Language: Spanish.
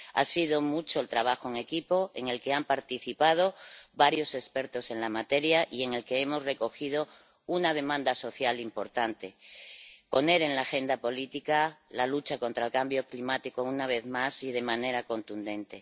Ha sido mucho el trabajo en equipo, en el que han participado varios expertos en la materia y en el que hemos recogido una demanda social importante poner en la agenda política la lucha contra el cambio climático, una vez más y de manera contundente.